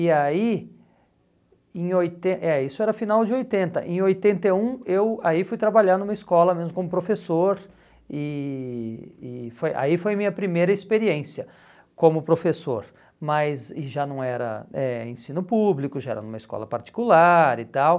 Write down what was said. E aí em oiten, é, isso era final de oitenta, em oitenta e um eu aí fui trabalhar numa escola, mesmo como professor, e e foi aí foi minha primeira experiência como professor, mas já não era eh ensino público, já era numa escola particular e tal.